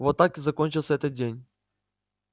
вот так и закончился этот день